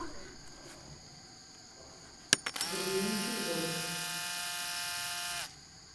грузинский дворик